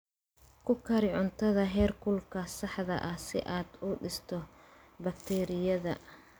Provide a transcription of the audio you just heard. Ku kari cuntada heerkulka saxda ah si aad u disho bakteeriyada.